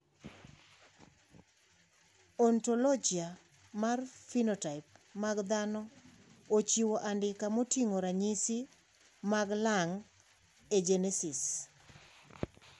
Ontologia mar phenotype mag dhano ochiwo andika moting`o ranyisi mag Lung agenesis.